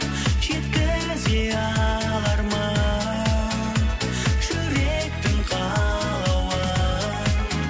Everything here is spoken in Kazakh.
жеткізе алармын жүректің қалауын